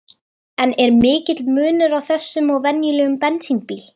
En er mikill munur á þessum og venjulegum bensínbíl?